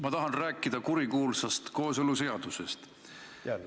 Ma tahan rääkida kurikuulsast kooseluseadusest.